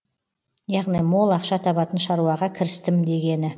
яғни мол ақша табатын шаруаға кірістім дегені